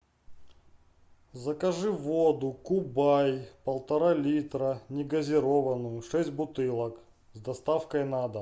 закажи воду кубай полтора литра негазированную шесть бутылок с доставкой на дом